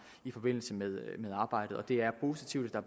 i forbindelse med arbejdet og det er positivt at der